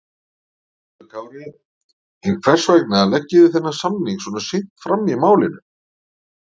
Höskuldur Kári: En hvers vegna leggið þið þennan samning svona seint fram í málinu?